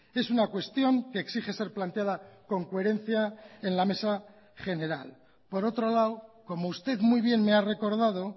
es una cuestión que exige ser planteada con coherencia en la mesa general por otro lado como usted muy bien me ha recordado